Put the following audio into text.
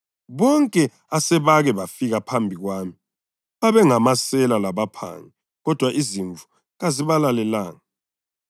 Bonke asebake bafika phambi kwami babengamasela labaphangi kodwa izimvu kazibalalelanga.